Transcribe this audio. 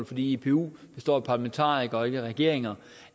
fordi ipu består af parlamentarikere og ikke af regeringer